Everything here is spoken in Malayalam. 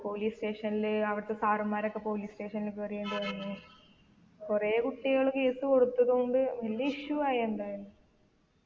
police station ല് അവിടത്തെ sir മാരൊക്കെ police station ല് കേറേണ്ടി വന്നു കൊറേ കുട്ടികൾ case കൊടുത്തത് കൊണ്ട് വലിയ issue ആയി എന്തായാലും